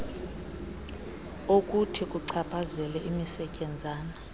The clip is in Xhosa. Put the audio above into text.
okuthi kuchaphazele imisetyenzana